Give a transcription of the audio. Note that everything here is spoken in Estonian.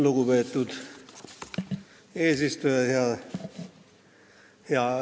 Lugupeetud eesistuja!